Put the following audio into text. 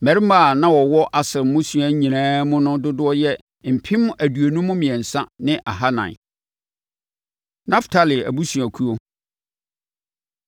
Mmarima a na wɔwɔ Aser mmusua nyinaa mu no dodoɔ yɛ mpem aduonum mmiɛnsa ne ahanan (53,400). Naftali Abusuakuo